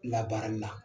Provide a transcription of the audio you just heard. Labaarali la